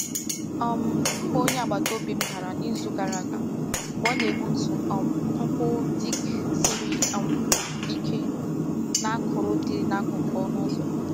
um Mma onye agbata obi m dara n'izu gara aga mgbe ọ na-egbutu um nkwụ teak siri um ike na akọrọ dị n'akụkụ ọnụ ụzọ.